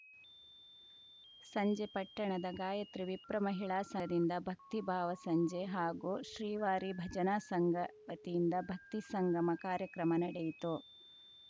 ಸಂಜೆ ಪಟ್ಟಣದ ಗಾಯತ್ರಿ ವಿಪ್ರ ಮಹಿಳಾ ಸದಿಂದ ಭಕ್ತಿ ಭಾವಸಂಜೆ ಹಾಗು ಶ್ರೀವಾರಿ ಭಜನಾ ಸಂಘ ವತಿಯಿಂದ ಭಕ್ತಿ ಸಂಗಮ ಕಾರ್ಯಕ್ರಮ ನಡೆಯಿತು